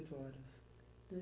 oito horas.